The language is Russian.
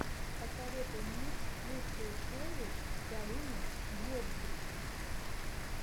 посоветуй мне лучшую серию галины гергивны